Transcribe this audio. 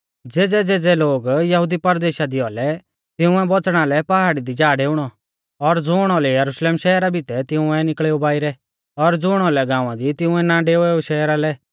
तैबै ज़ेज़ै लोग यहुदी परदेशा दी औलै तिंउऐ बौच़णा लै पहाड़ी दी जा डेऊणौ और ज़ुण औलै यरुशलेम शहरा बितै तिंउऐ निकल़ेऊ बाइरै और ज़ुण औलै गाँवा दी तिंउऐ ना डेवेऊ शहरा लै